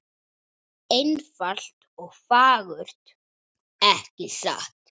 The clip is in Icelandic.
Einfalt og fagurt, ekki satt?